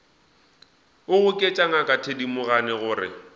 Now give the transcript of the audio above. a goketša ngaka thedimogane gore